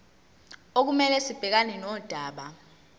okumele sibhekane nodaba